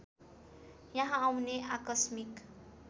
यहाँ आउने आकस्मिक